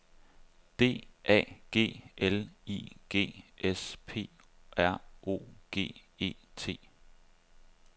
D A G L I G S P R O G E T